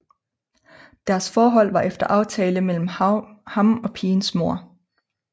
Deres forhold var efter aftale mellem ham og pigens mor